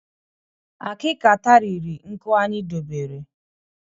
Akika tariri nkụ anyị dobere